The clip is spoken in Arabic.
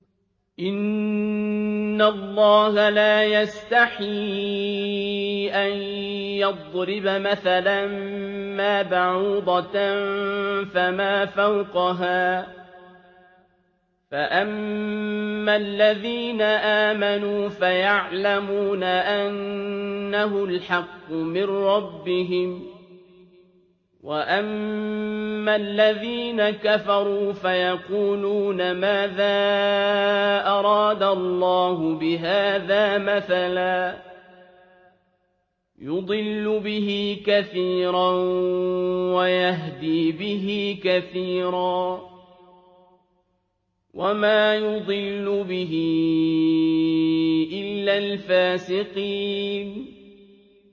۞ إِنَّ اللَّهَ لَا يَسْتَحْيِي أَن يَضْرِبَ مَثَلًا مَّا بَعُوضَةً فَمَا فَوْقَهَا ۚ فَأَمَّا الَّذِينَ آمَنُوا فَيَعْلَمُونَ أَنَّهُ الْحَقُّ مِن رَّبِّهِمْ ۖ وَأَمَّا الَّذِينَ كَفَرُوا فَيَقُولُونَ مَاذَا أَرَادَ اللَّهُ بِهَٰذَا مَثَلًا ۘ يُضِلُّ بِهِ كَثِيرًا وَيَهْدِي بِهِ كَثِيرًا ۚ وَمَا يُضِلُّ بِهِ إِلَّا الْفَاسِقِينَ